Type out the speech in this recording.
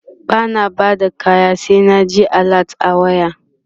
bana Bada kaya sai na ji alert a waya